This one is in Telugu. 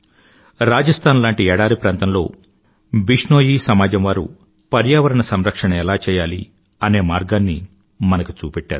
రాజస్థాన్ లాంటి ఎడారి ప్రాంతంలో విష్ణోయీ సమాజం వారు పర్యావరణ సంరక్షణ ఎలా చేయాలి అనే మార్గాన్ని మనకు చూపెట్టారు